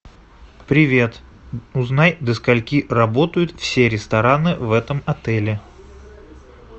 привет узнай до скольки работают все рестораны в этом отеле